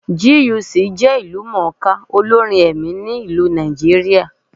GUC jẹ́ ìlú mọ̀ọ́ ká olórin ẹ̀mí ní Nàìjíríà.